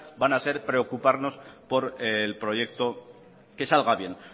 van a ser preocuparnos por el proyecto que salga bien